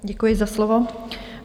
Děkuji za slovo.